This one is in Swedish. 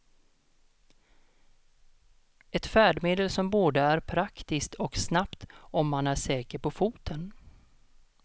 Ett färdmedel som både är praktiskt och snabbt om man är säker på foten.